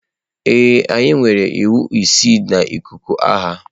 Ee, anyị nwere iwu isii na ikuku agha.